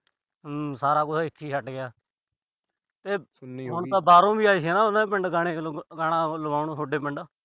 ਹੂੰ। ਸਾਰਾ ਕੁਛ ਇੱਥੇ ਹੀ ਛੱਡ ਗਿਆ। ਹੁਣ ਤਾਂ ਬਾਹਰੋਂ ਵੀ ਆਏ ਸੀ ਹਨਾ, ਉਹਨਾਂ ਦੇ ਪਿੰਡ ਗਾਣਾ ਅਹ ਗਾਣਾ ਲਵਾਉਣ ਥੋਡੇ ਪਿੰਡ।